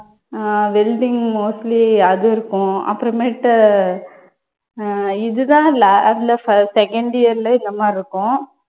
அஹ் welding mostly அது இருக்கும் அப்புறமேட்டு அஹ் இது தான் lab ல firs second year ல இந்த மாதிரி இருக்கும்.